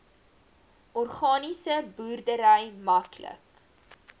organiese boerdery maklik